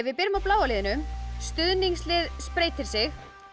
byrjum á bláa liðinu stuðningslið spreytir sig